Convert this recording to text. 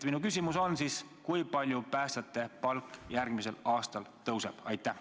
Minu küsimus on nüüd selline: kui palju päästjate palk järgmisel aastal tõuseb?